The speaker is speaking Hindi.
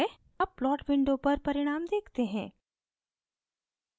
अब plot window पर परिणाम देखते हैं